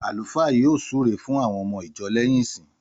Àlúfáà yóò súre fún àwon omo ìjo léyìn ìsin